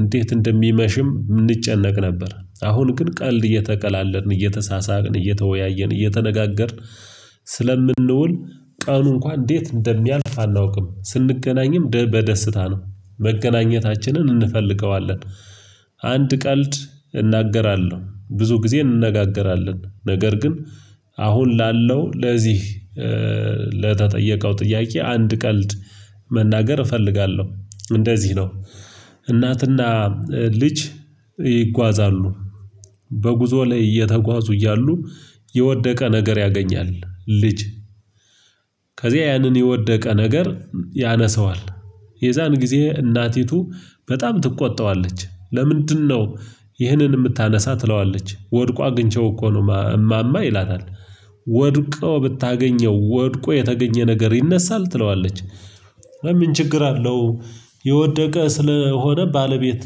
እንዴት እንደሚመሽም እንጨነቅ ነበር። አሁን ግን ቀልድ እየተቀላለድን፤ እየተሳሳቅን፤ እየተወያየን፤ እየተነጋገርን ስለምንውል ቀኑ እንኳን እንዴት እንደሚያልፍ አናውቅም። ስንገናኝም በደስታ ነው መገናኘታችንን እንፈልገዋለን። አንድ ቀልድ እናገራለሁ። ብዙ ጊዜ እንነጋገራለን ነገር ግን አሁን ላለው ለዚህ ለተጠየቀው ጥያቄ አንድ ቀልድ መናገር እፈልጋለሁ፤ እንደዚህ ነው እናትና ልጅ ይጓዛሉ፤ በጉዞ ላይ እየተጓዙ እያሉ የወደቀ ነገር ያገኛል ልጅ፤ ከዚህ ያንን የወደቀ ነገር ያነሰዋል፤ የዛን ጊዜ እናቲቱ በጣም ትቆጣዋለች፤ ለምንድነው ይህንን የምታነሳ? ትለዋለች፤ ወድቋ ግንቼው እኮ ነው እማማ ይላታል፤ ወድቆ ብታገኘው ወድቆ የተገኘ ነገር ይነሳል? ትለዋለች፤ ችግር አለው የወደቀ ስለሆነ ባለቤት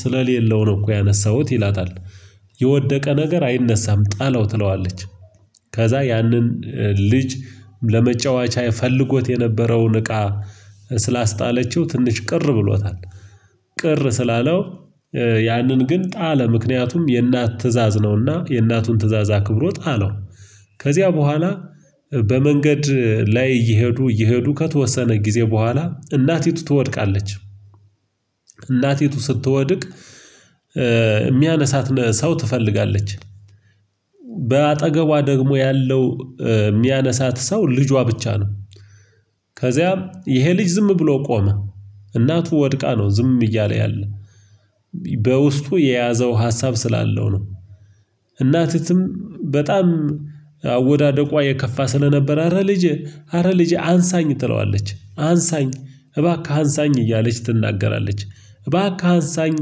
ስለሌለው ነው እኮ ያነሳሁት ይላታል። የወደቀ ነገር አይነሳም ጣለው ትለዋለች፤ ከዛ ያንን ልጅ ለመጫወቻ ፈለጎት የነበረውን እቃ ስላስጣለችው ትንሽ ቅር ብሎታል። ቅር ስላለው ያንን ግን ጣለ ምክንያቱም የእናት ትእዛዝ ነውና የእናቱን ትእዛዝ አክብሮ ጣለው ከዚያ በኋላ በመንገድ ላይ እየሄዱ እየሄዱ፤ ከተወሰነ ጊዜ በኋላ እናቲቱ ትወድቃለች፤ እናቲቱ ስትወድቅ የሚያነሳት ሰው ትፈልጋለች፤ በአጠገቧ ደግሞ ያለው የሚያነሳት ሰው ልጇ ብቻ ነው፤ ከዚያም ይሄ ልጅ ዝም ብሎ ቆመ እናቱ ወድቃ ነው ዝም እያለ ያለ። በውስጡ የያዘው ሀሳብ ስላለው ነው። እናትም በጣም አወዳደቋ የከፋ ስለነበረ፤ አረ ልጅ አረ ልጅ አንሳኝ ትለዋለች፤ አንሳኝ እባክህ አንሳኝ እያለች ትናገራለች። እባክህ አንሳኝ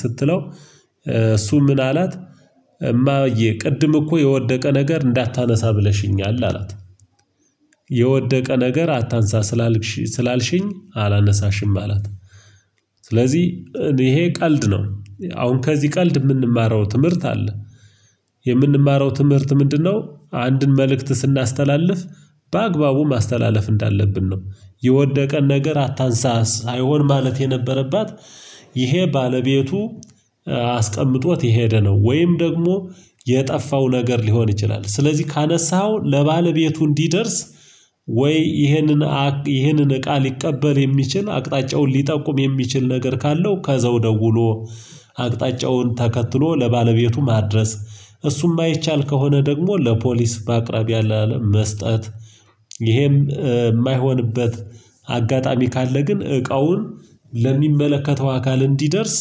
ስትለው እሱ ምን አላት ቅድም እኮ የወደቀ ነገር እንዳታነሳ ብለሽኛል አላት። የወደቀ ነገር አታንሳ ስላልሽኝ አላነሳሽም አላት። ስለዚህ ይሄ ቀልድ ነው አሁን ከዚህ ቀልድ የምንማረው ትምህርት አለ። የምንማረው ትምህርት ምንድነው አንድን መልእክት ስናስተላልፍ በአግባቡ ማስተላለፍ እንዳለብን ነው። የወደቀ ነገር አታንሳስ ሳይሆን ማለት የነበረባት፤ ይሄ ባለቤቱ አስቀምጦት የሄደ ነው፤ ወይም ደግሞ የጠፋው ነገር ሊሆን ይችላል ስለዚህ ካነሳኸው ለባለቤቱ እንዲደርስ ወይ ይህንን ይህንን እቃ ሊቀበል የሚችል፤ አቅጣጫውን ሊጠቁም የሚችል ነገር ካለው ከዘው ደውሎ አቅጣጫውን ተከትሎ ለባለቤቱ ማድረስ፤ እሱም የማይቻል ከሆነ ደግሞ ለፖሊስ በአቅራቢያ ላለ አለም መስጠት ይሄም የማይሆንበት አጋጣሚ ካለ ግን እቃውን ለሚመለከተው አካል እንዲደርስ፤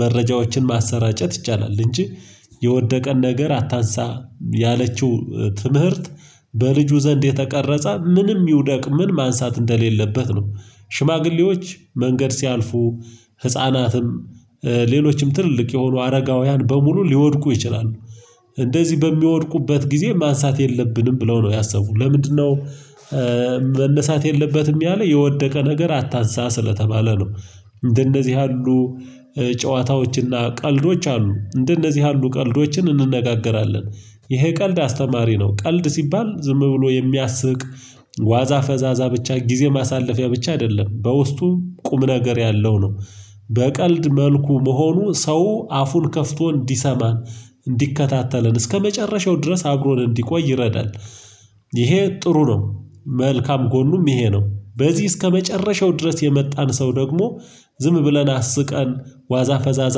መረጃዎችን ማሰራጨት ይቻላል እንጂ የወደቀን ነገር አታንሳ ያለችው ትምህርት፤ በልጁ ዘንድ የተቀረጸ ምንም ይውደቅ ምን ማንሳት እንደሌለበት ነው። ሽማግሌዎች መንገድ ሲያልፉ፤ ህፃናትም፤ ሌሎችም ትልልቅ የሆኑ አረጋውያን፤ በሙሉ ሊወድቁ ይችላሉ። እንደዚህ በሚወድቁበት ጊዜ ማንሳት የለብንም ብለው ነው ያሰቡት ለምንድነው መነሳት የለበትም ያለ የወደቀ ነገር አታንሳ ስለተባለ ነው። እንደነዚህ ያሉ ጨዋታዎችና ቀልዶች አሉ። እንደነዚህ ያሉ ቀልዶችን እንነጋገራለን፤ ይሄ ቀልድ አስተማሪ ነው ቀልድ ሲባል ዝም ብሎ የሚያስቅ ዋዛ ፈዛዛ ብቻ ጊዜ ማሳለፊያ ብቻ አይደለም፤ በውስጡ ቁም ነገር ያለው ነው በቀልድ መልኩ መሆኑ ሰው አፉን ከፍቶ እንዲሰማ እንዲከታተለን፤ እስከመጨረሻው ድረስ አብሮን እንዲቆይ ይረዳል። ይሄ ጥሩ ነው፤ መልካም ጎኑም ይሄ ነው። በዚህ እስከመጨረሻው ድረስ የመጣን ሰው ደግሞ ዝም ብለን አስቀን፤ ዋዛ ፈዛዛ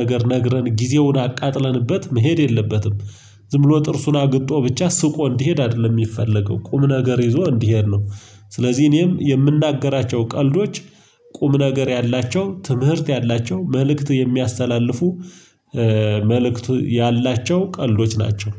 ነገር ነግረን ጊዜውን አቃጥለንበት መሄድ የለበትም ዝም ብሎ ጥርሱን አግጦ ብቻ ስቆ እንዲሄድ አይደለም የሚፈለገው፤ ቁም ነገር ይዞ እንዲሄድ ነው። ስለዚህ እኔም የምናገራቸው ቀልዶች ቁም ነገር ያላቸው ትምህርት ያላቸው መልእክት የሚያስተላልፉ መልእክት ያላቸው ቀልዶች ናቸው።